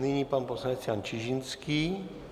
Nyní pan poslanec Jan Čižinský.